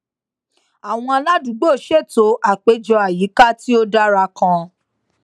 àwọn aládùúgbò ṣètò àpéjọ àyíká tí ó dára kan